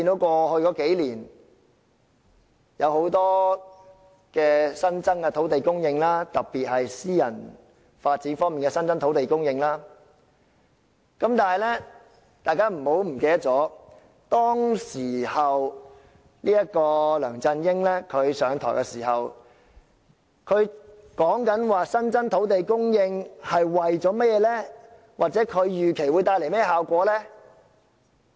過去數年，有很多新增的土地供應，特別是私人發展方面的新增土地供應，但是，大家不要忘記，當梁振英上任時，他說新增土地供應是為了甚麼或預期會帶來甚麼效果呢？